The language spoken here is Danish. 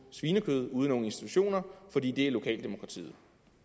ude i nogle institutioner fordi det er lokaldemokratiet